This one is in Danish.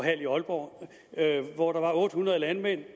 i aalborg hvor der var otte hundrede landmænd